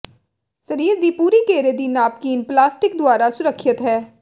ਸਰੀਰ ਦੀ ਪੂਰੀ ਘੇਰੇ ਦੀ ਨਾਪਕੀਨ ਪਲਾਸਟਿਕ ਦੁਆਰਾ ਸੁਰੱਖਿਅਤ ਹੈ